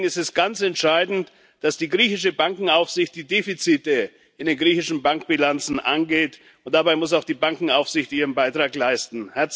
Deswegen ist es ganz entscheidend, dass die griechische Bankenaufsicht die Defizite in den griechischen Bankbilanzen angeht, und dabei muss auch die Bankenaufsicht ihren Beitrag leisten.